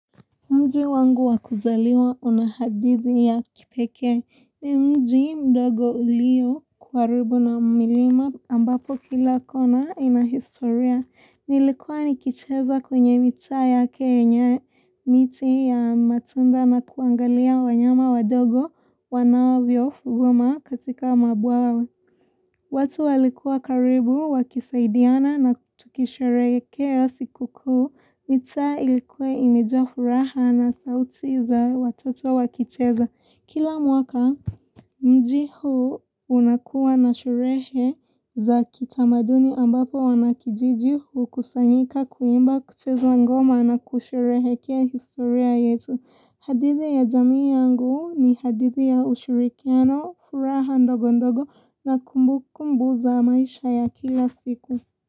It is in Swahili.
Mji wangu wakuzaliwa unahadithi ya kipekee ni mji mdogo ulio karibu na milima ambapo kila kona inahistoria. Nilikuwa nikicheza kwenye mitaa ya kenya miti ya matunda na kuangalia wanyama wadogo wanavyo fugwama katika mabwawa. Watu walikuwa karibu, wakisaidiana na tukisherehekea sikukuu, mitaa ilikuwa imejaa furaha na sauti za watoto wakicheza. Kila mwaka, mji huu unakuwa na sherehe za kitamaduni ambapo wanakijiji ukusanyika kuimba kucheza ngoma na kusherehekea historia yetu. Hadithi ya jamii yangu ni hadithi ya ushirikiano furaha ndogo ndogo na kumbu kumbu za maisha ya kila siku.